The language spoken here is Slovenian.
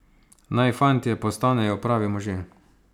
Naj fantje postanejo pravi možje!